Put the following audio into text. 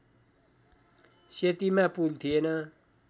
सेतीमा पुल थिएन